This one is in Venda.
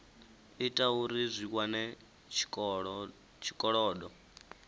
ita uri zwi wane tshikolodo